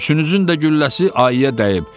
Üçünüzün də gülləsi ayıya dəyib."